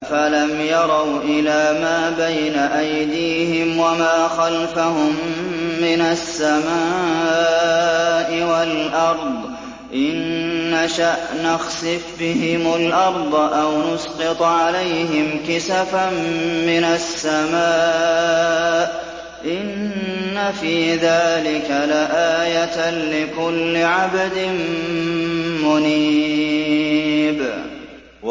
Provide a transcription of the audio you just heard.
أَفَلَمْ يَرَوْا إِلَىٰ مَا بَيْنَ أَيْدِيهِمْ وَمَا خَلْفَهُم مِّنَ السَّمَاءِ وَالْأَرْضِ ۚ إِن نَّشَأْ نَخْسِفْ بِهِمُ الْأَرْضَ أَوْ نُسْقِطْ عَلَيْهِمْ كِسَفًا مِّنَ السَّمَاءِ ۚ إِنَّ فِي ذَٰلِكَ لَآيَةً لِّكُلِّ عَبْدٍ مُّنِيبٍ